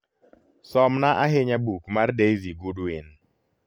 somna ahinya buk mar daizy goodwin